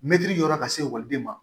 Mɛtiri jɔyɔrɔ ka se ekɔliden ma